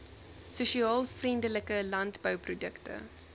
sosiaal vriendelike landbouprodukte